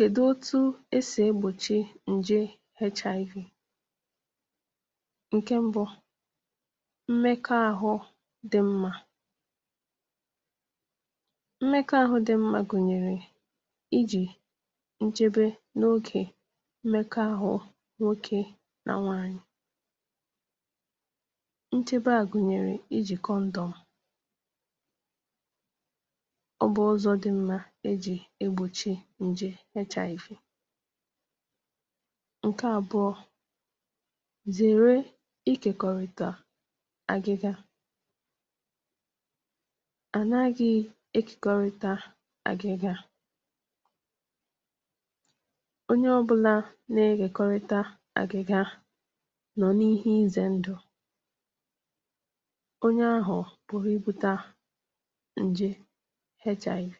kèdụ otu esì egbòchi ǹje HIV ǹkẹ mbụ mmẹkọ ahụ dị mmā mmẹkọ ahụ dị mmā gùnyèrè ịjị̀ nchebe n’ogè mmẹkọ àhụ nwokē nà nwanyị̀ nchebe à gùnyèrè ịjị̀ kọndọ̀m ọ bụ̀ uzọ̄ dị mmā e jị̀ egbòchi ǹje HIV ǹkẹ àbụọ zèrẹ ikèkọ̀rị̀tà agịga ànaghị ejìkọrịta agịga ọnye ọbụna na-ekèkọrịta agịga nọ̀ n’ihe ịzẹ̀ ndụ̀ ọnyẹ ahụ̀ pụ̀rụ̀ ịbụ̄ta ǹje HIV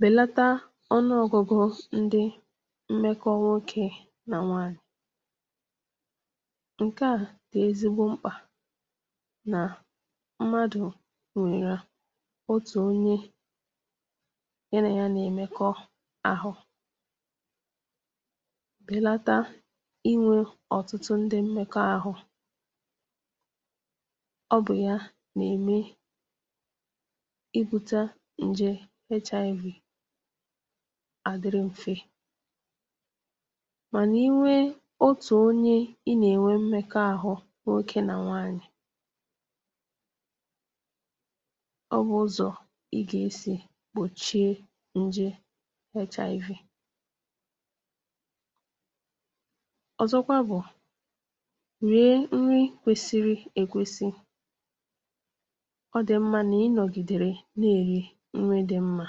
bèlata ọnụọgụgụ ndị mmẹkọ nwokē nà nwanyị̀ ǹkẹ̀ a dị̀ ezigbo mkpà nà mmadù nwẹ̀rẹ̀ otù onyē ya nà ya nà ẹ̀mẹkọ àhụ bèlata ịnwē ọ̀tụtụ ndị mmẹkọ àhụ ọ bụ̀ ya nà ème ị bụ̄ta ǹje HIV adịrụ mfē mànà ị nwe otù onye ị nà ẹ̀nwẹ mmẹkọ ahụ nwokē nà nwanyị̀ ọ nwẹ̀ uzọ̄ ị gà esì gbòchie nje HIV ọ̀zọkwa bụ̀ rie nrị kwesiri è kwesi ọ dị̀ mmā nà ị nọgìdere nà èri nrị dị mmā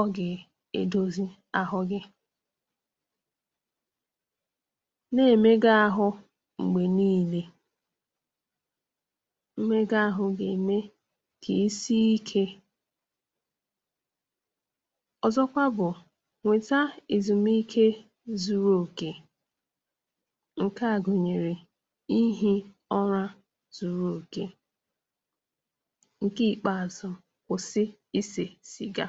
ọ gà èdozi ahụ gị̄ nà ème gị̄ ahụ m̀gbè nine mmega ahụ gà ème kà ị si ikē ọzọkwa bụ̀ wẹ̀ta èzùmike zuru òkè ǹkẹ̀ a gùnyẹ̀rẹ ịhị̄ ụra zuru òkè ǹkẹ ìkpeazu kwụ̀sị isè cị̇̀ga